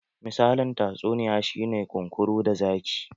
Misalin tatsuniya shi ne "kunkuru da zaki".